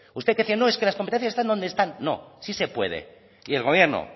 usted decía es que las competencias están donde están no sí se puede y el gobierno